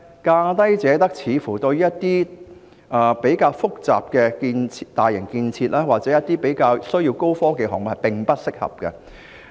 價低者得的做法，對於一些比較複雜的大型建設或高科技項目，似乎並不適合。